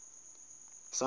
sondela